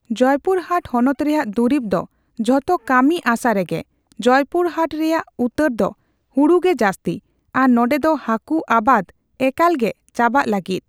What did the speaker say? ᱡᱚᱭᱯᱩᱨᱦᱟᱴ ᱦᱚᱱᱚᱛ ᱨᱮᱭᱟᱜ ᱫᱩᱨᱤᱵ ᱫᱚ ᱡᱷᱮᱛ ᱠᱟᱹᱢᱤ ᱟᱥᱟ ᱨᱮᱜᱮ᱾ ᱡᱚᱭᱯᱩᱨᱦᱟᱴ ᱨᱮᱭᱟᱜ ᱩᱛᱟᱹᱨ ᱫᱚ ᱦᱩᱲᱩ ᱜᱮ ᱡᱟᱹᱥᱛᱤ᱾ ᱟᱨ ᱱᱚᱸᱰᱮ ᱫᱚ ᱦᱟᱠᱩ ᱟᱵᱟᱫ ᱮᱠᱟᱞ ᱜᱮ ᱪᱟᱵᱟᱜ ᱞᱟᱹᱜᱤᱫ᱾